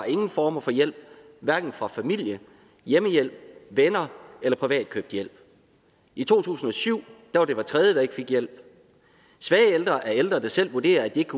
ingen form for hjælp hverken fra familie hjemmehjælp venner eller privat købt hjælp i to tusind og syv var det hver tredje der ikke fik hjælp svage ældre er ældre der selv vurderer at de ikke